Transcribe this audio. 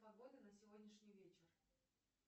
погода на сегодняшний вечер